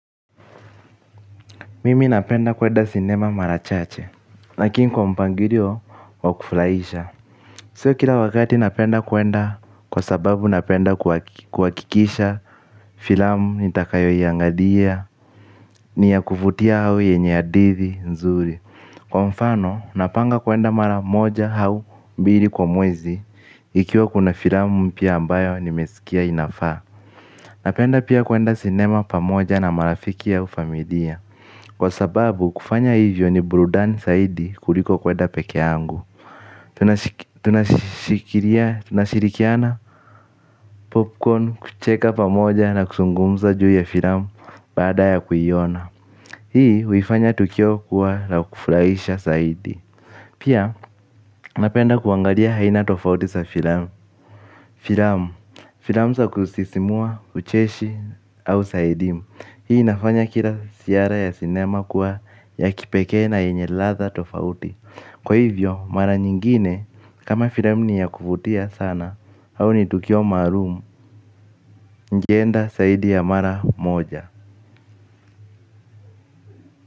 Mimi napenda kuenda sinema mara chache lakini kwa mpangilio wa kufurahisha sio kila wakati napenda kuenda kwa sababu napenda kuhakikisha filamu nitakayoiangalia ni ya kuvutia au yenye hadithi nzuri kwa mfano napanga kuenda mara moja au mara mbili kwa mwezi ikiwa kuna filamu mpya ambayo nimesikia inafaa. Napenda pia kuenda sinema pamoja na marafiki au familia kwa sababu kufanya hivyo ni burudani zaidi kuliko kwenda pekee yangu. Tunashirikiana popcorn kucheka pamoja na kuzungumza juu ya filamu baada ya kuiona hii huifanya tukio kuwa la kufuraisha zaidi pia napenda kuangalia aina tofauti za filamu filamu za kusisimua ucheshi au za idimu hii inafanya kila ziara ya sinema kuwa ya kipekee na yenye ladha tofauti kwa hivyo mara nyingine kama filamu ni ya kuvutia sana au ni tukio maalumu ningeenda zaidi ya mara moja.